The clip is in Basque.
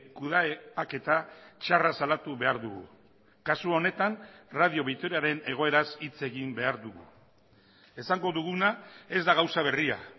kudeaketa txarra salatu behar dugu kasu honetan radio vitoriaren egoeraz hitz egin behar dugu esango duguna ez da gauza berria